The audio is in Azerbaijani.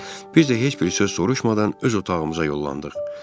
Biz də heç bir söz soruşmadan öz otağımıza yollandıq.